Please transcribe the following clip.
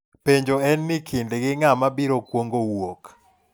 Penjo en ni kindgi ng'ama biro kwongo wuok?